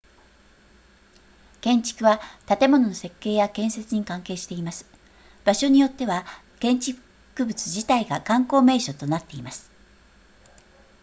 建築は建物の設計や建設に関係しています場所によっては建築物自体が観光名所となっています